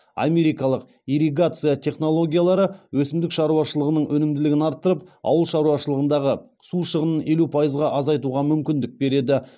америкалық ирригация технологиялары өсімдік шаруашылығының өнімділігін арттырып ауыл шаруашылығындағы су шығынын елу пайызға азайтуға мүмкіндік береді